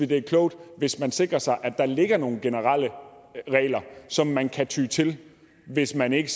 det er klogt hvis man sikrer sig at der ligger nogle generelle regler som man kan ty til hvis man ikke